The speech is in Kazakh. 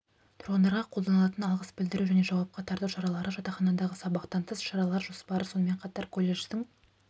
тұрғындарға қолданатын алғыс білдіру және жауапқа тарту шаралары жатақханадағы сабақтан тыс шаралар жоспары сонымен қатар колледждің